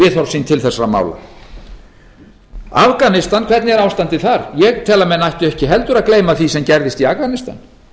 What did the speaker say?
endurskoða viðhorf sín til þessara mála afganistan hvernig er ástandið þar ég tel að menn ættu ekki heldur að gleyma því sem gerðist í afganistan